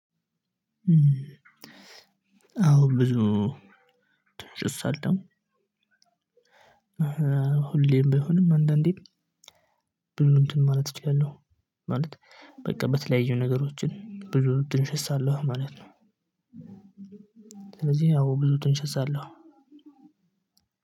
አዎ ብዙ ጭስ አለው። ሁሌም ቢሆንም አንዳንዴም ብዙ እንትን ማለት እችላለሁ። ማለት በቃ በተለያዩ ነገሮችን ብዙ ጥንሸሳለሁ ማለት ነው። ስለዚህ ያው ብዙ ጥንሸሳለሁ።